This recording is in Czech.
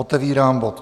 Otevírám bod